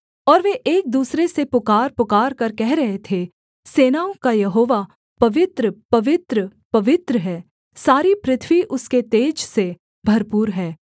और वे एक दूसरे से पुकार पुकारकर कह रहे थे सेनाओं का यहोवा पवित्र पवित्र पवित्र है सारी पृथ्वी उसके तेज से भरपूर है